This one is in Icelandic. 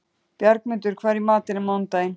Bjargmundur, hvað er í matinn á mánudaginn?